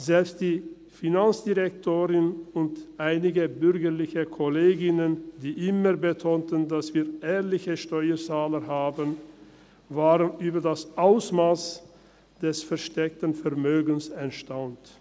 Selbst die Finanzdirektorin und einige bürgerliche Kolleginnen, die immer betonten, dass wir ehrliche Steuerzahler haben, waren über das Ausmass des versteckten Vermögens erstaunt.